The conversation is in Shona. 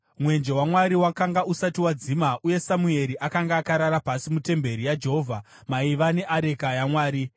Mwenje waMwari wakanga usati wadzimwa, uye Samueri akanga akarara pasi mutemberi yaJehovha, maiva neareka yaMwari.